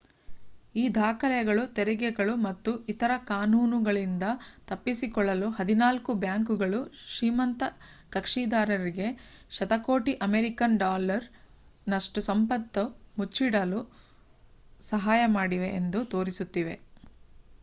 ಈ ದಾಖಲೆಗಳು ತೆರಿಗೆಗಳು ಮತ್ತು ಇತರ ಕಾನೂನುಗಳಿಂದ ತಪ್ಪಿಸಿಕೊಳ್ಳಲು ಹದಿನಾಲ್ಕು ಬ್ಯಾಂಕುಗಳು ಶ್ರೀಮಂತ ಕಕ್ಷಿದಾರರಿಗೆ ಶತಕೋಟಿ ಅಮೇರಿಕನ್ ಡಾಲರ್ ನಷ್ಟು ಸಂಪತ್ತನ್ನು ಮುಚ್ಚಿಡಲು ಸಹಾಯ ಮಾಡಿವೆ ಎಂದು ತೋರಿಸುತ್ತಿವೆ